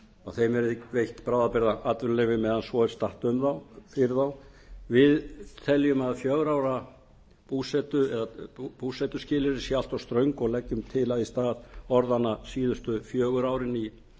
og þeim verði veitt bráðabirgðaatvinnuleyfi eða svo er statt um þá fyrir þá við teljum að fjórir á ára búsetuskilyrði séu allt of ströng og leggjum til að í stað orðanna síðustu fjögur árin í